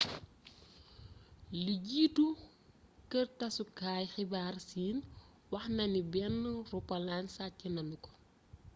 lu jiitu kër tassukaay xibaar siin waxnani benn roppalan sacc nañuko